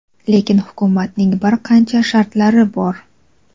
lekin hukumatning bir qancha shartlari bor.